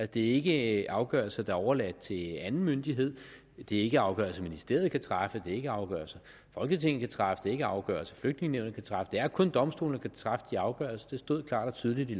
det er ikke afgørelser der er overladt til anden myndighed det er ikke afgørelser ministeriet kan træffe det er ikke afgørelser folketinget kan træffe det er ikke afgørelser flygtningenævnet kan træffe det er kun domstolene der kan træffe de afgørelser det stod klart og tydeligt i